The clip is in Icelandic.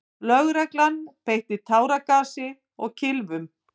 Lögregla beitti táragasi og kylfum.